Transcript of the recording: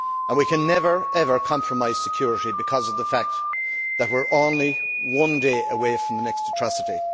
We can never, ever compromise security because of the fact that we are only one day away from the next atrocity.